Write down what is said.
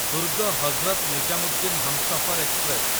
Durg Hazrat Nizamuddin Humsafar express